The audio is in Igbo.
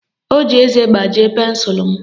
O ji eze gbajie pensụlụ m